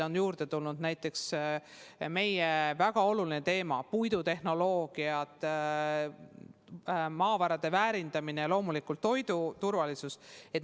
Aga juurde on tulnud ka näiteks meile väga olulised teemad: puidutehnoloogia, maavarade väärindamine ja loomulikult toidu turvalisus.